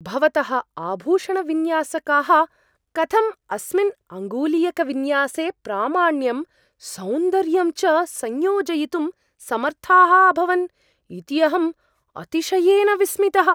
भवतः आभूषणविन्यासकाः कथं अस्मिन् अङ्गुलीयकविन्यासे प्रामाण्यं, सौन्दर्यं च संयोजयितुं समर्थाः अभवन् इति अहम् अतिशयेन विस्मितः।